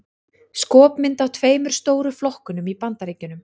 Skopmynd af tveimur stóru flokkunum í Bandaríkjunum.